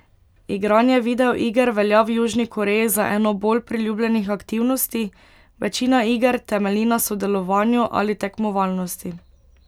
Igranje videoiger velja v Južni Koreji za eno bolj priljubljenih aktivnosti, večina iger temelji na sodelovanju ali tekmovalnosti.